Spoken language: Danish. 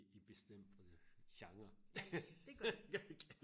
i i bestemte genrer